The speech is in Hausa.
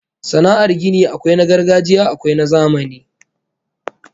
Sana'ar gini akwai na gargajiya akwai na zamani